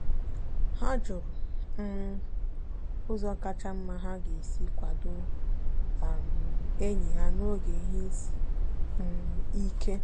ha jụrụ um ụzọ kacha mma ha ga-esi kwado um enyi ha n'oge ihe isi um ike.